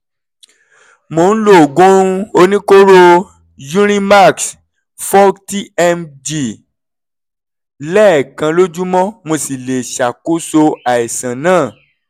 mò ń lo oògùn oníkóró urimax forty mg lẹ́ẹ̀kan lójúmọ́ mo sì lè ṣàkóso àìsàn náà